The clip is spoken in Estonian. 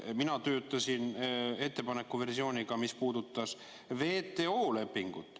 Mina töötasin ettepaneku versiooniga, mis puudutas WTO lepingut.